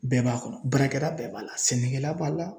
Bɛɛ b'a kɔnɔ baarakɛ la bɛɛ b'a la sɛnɛkɛla b'a la